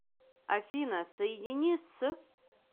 афина соедини с